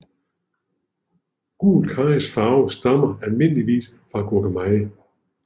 Gul karrys farve stammer almindeligvis fra gurkemeje